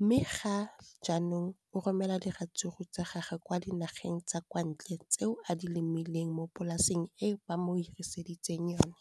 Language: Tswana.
mme ga jaanong o romela diratsuru tsa gagwe kwa dinageng tsa kwa ntle tseo a di lemileng mo polaseng eo ba mo hiriseditseng yona.